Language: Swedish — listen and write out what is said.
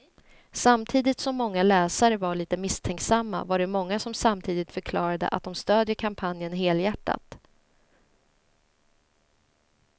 Samtidigt som många läsare var lite misstänksamma var det många som samtidigt förklarade att de stödjer kampanjen helhjärtat.